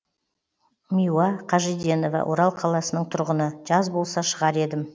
миуа қажиденова орал қаласының тұрғыны жаз болса шығар едім